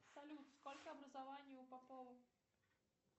салют сколько образований у попова